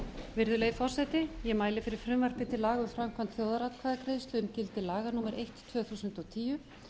virðulegi forseti ég mæli fyrir frumvarpi til laga um framkvæmd þjóðaratkvæðagreiðslu um gildi laga númer eitt tvö þúsund og tíu